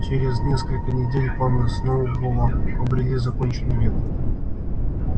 через несколько недель планы сноуболла обрели законченный вид